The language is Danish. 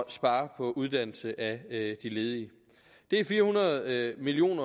at spare på uddannelse af de ledige det er fire hundrede million